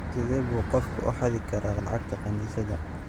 Sidee buu qofku u xadi karaa lacagta kaniisadda?